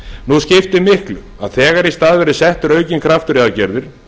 nú skiptir miklu að þegar í stað verði settur aukinn kraftur í aðgerðir